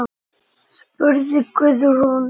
spurði Guðrún.